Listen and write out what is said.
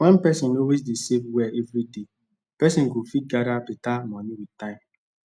when person always dey save well every day person go fit gather better money with time